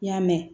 I y'a mɛn